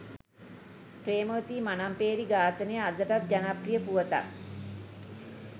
ප්‍රේමවතී මනම්පේරි ඝාතනය අදටත් ජනප්‍රිය පුවතක්